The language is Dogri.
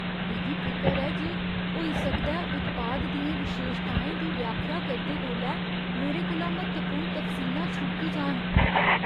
मिगी फिकर ऐ जे होई सकदा ऐ उत्पाद दियें विशेशताएं दी व्याख्या करदे बेल्लै मेरे कोला म्हत्तवपूर्ण तफसीलां छुड़की जान।